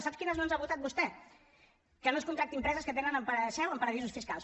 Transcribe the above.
sap quines no ens ha votat vostè que no es contractin empreses que tenen seu en paradisos fiscals